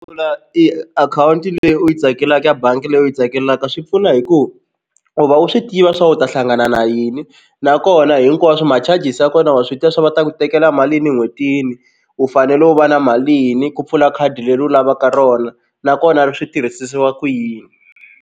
Pfula i akhawunti leyi u yi tsakelaka ya bangi leyi u yi tsakelaka swi pfuna hi ku u va u swi tiva swa u ta hlangana na yini nakona hinkwaswo ma-charges ya kona wa swi tiva swa va ta ku tekela mali yini en'hwetini u fanele u va na malini ku pfula khadi leri u lavaka rona nakona ri swi tirhisisiwa ku yini.